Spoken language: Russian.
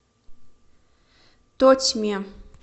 тотьме